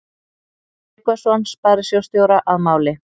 Tryggvason sparisjóðsstjóra að máli.